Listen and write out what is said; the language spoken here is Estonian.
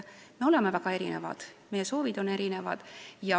Me oleme väga erinevad ja meie soovid on erinevad.